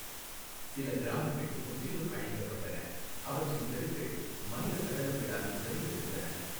சில கிராமங்கள் முற்றிலும் அழிக்கப்பட்டன, அவற்றின் தெருக்கள் மனித சடலங்களால் நிறைந்திருந்தன.